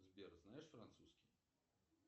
сбер знаешь французский